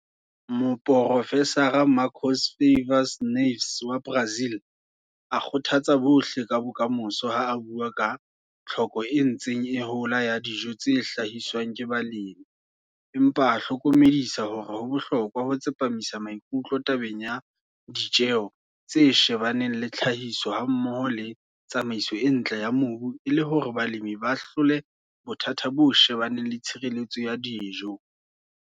Moprofesara Marcos Favas Neves wa Brazil a kgothatsa bohle ka bokamoso ha a bua ka tlhoko e ntseng e hola ya dijo tse hlahiswang ke balemi, empa a hlokomedisa hore ho bohlokwa ho tsepamisa maikutlo tabeng ya ditjeo tse shebaneng le tlhahiso hammoho le tsamaiso e ntle ya mobu e le hore balemi ba hlole bothata bo shebaneng le tshireletso ya dijo.